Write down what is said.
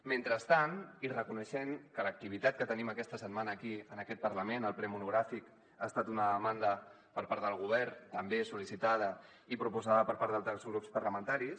mentrestant i reconeixent que l’activitat que tenim aquesta setmana aquí en aquest parlament el ple monogràfic ha estat una demanda per part del govern també sol·licitada i proposada per part d’altres grups parlamentaris